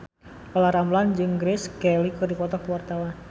Olla Ramlan jeung Grace Kelly keur dipoto ku wartawan